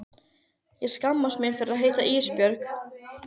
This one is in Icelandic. Ég skammast mín fyrir að heita Ísbjörg.